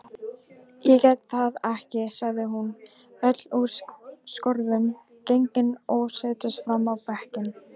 Ég get það ekki, sagði hún öll úr skorðum gengin og settist fram á bekkinn.